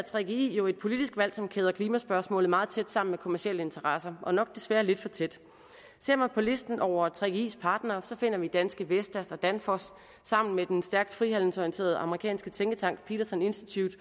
gggi jo er et politisk valg som kæder klimaspørgsmålet meget tæt sammen med kommercielle interesser og nok desværre lidt for tæt ser man på listen over gggis partnere finder man danske vestas og danfoss sammen med den stærkt frihandelsorienterede amerikanske tænketank peterson institute